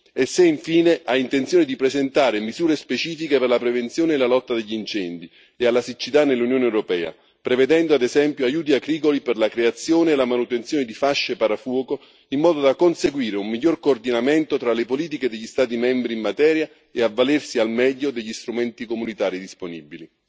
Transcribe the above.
e se, infine, ha intenzione di presentare misure specifiche per la prevenzione e la lotta agli incendi e alla siccità nell'Unione europea, prevedendo, ad esempio, aiuti agricoli per la creazione e la manutenzione di fasce parafuoco, in modo da conseguire un miglior coordinamento tra le politiche degli Stati membri in materia e avvalersi al meglio degli strumenti comunitari disponibili.